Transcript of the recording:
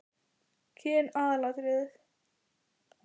Kyn aðalatriði?